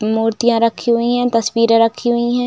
मूर्तियाँ रखी हुई है तस्वीरें रखी हुई है।